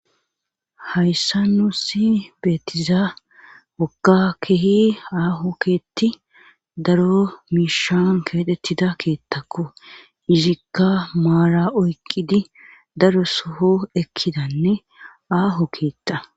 hayssa nuusi beetiza woga kehi aaho keetti daro miishan keetettida keettakko izikka maara oyqqidi daro soho ekkidanne aaho keetta